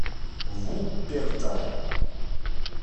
вупперталь